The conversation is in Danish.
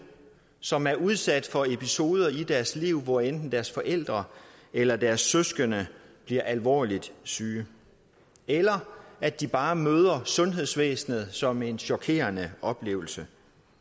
som er udsat for episoder i deres liv hvor enten deres forældre eller deres søskende bliver alvorligt syge eller at de bare møder sundhedsvæsenet som en chokerende oplevelse